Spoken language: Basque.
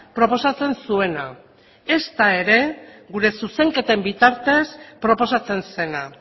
proposatzen zuena ezta ere gure zuzenketen bitartez proposatzen zena